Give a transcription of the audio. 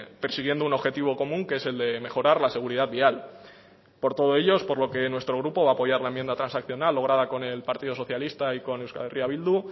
persiguiendo un objetivo común que es el de mejorar la seguridad vial por todo ello es por lo que nuestro grupo va a apoyar la enmienda transaccional lograda por el partido socialista y con euskal herria bildu